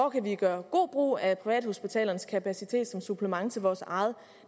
kan gøre god brug af privathospitalernes kapacitet som supplement til vores eget